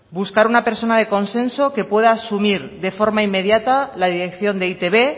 buscar una persona de consenso que pueda asumir de forma inmediata la dirección de e i te be